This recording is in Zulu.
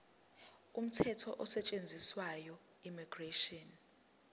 umthetho osetshenziswayo immigration